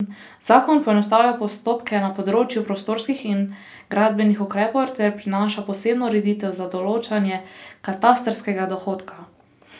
Zakon poenostavlja postopke na področju prostorskih in gradbenih ukrepov ter prinaša posebno ureditev za določanje katastrskega dohodka.